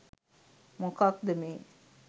මොකද්ද මේ